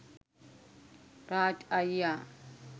රාජ් අයියා